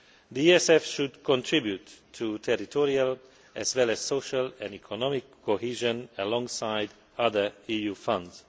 The ESF should contribute to territorial as well as social and economic cohesion alongside other EU funds.